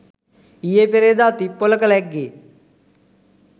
ඊයේ පෙරේද තිප්පොලක ලැග්ගේ.